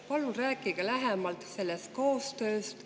Palun rääkige lähemalt sellest koostööst.